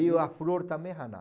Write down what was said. E a flor também é Haná.